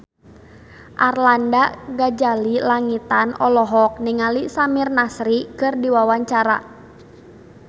Arlanda Ghazali Langitan olohok ningali Samir Nasri keur diwawancara